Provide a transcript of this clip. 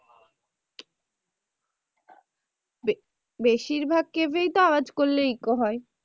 জি বেশিরভাগ এই তো আওয়াজ করলে echo হয়।